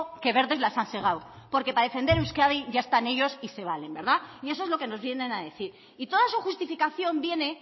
qué verdes las han segado porque para defender a euskadi ya están ellos y se valen verdad y eso es lo que nos vienen a decir y toda su justificación viene